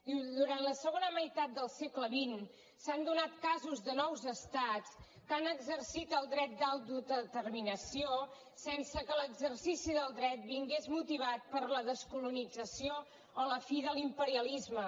diu durant la segona meitat del segle xx s’han donat casos de nous estats que han exercit el dret d’autodeterminació sense que l’exercici del dret vingués motivat per la descolonització o la fi de l’imperialisme